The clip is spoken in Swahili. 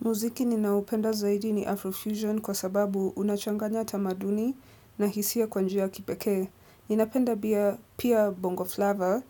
Muziki ninaoupenda zaidi ni Afrofusion kwa sababu unachanganya tamaduni na hisia kwa njia ya kipekee. Ninapenda bia, pia Bongo Flava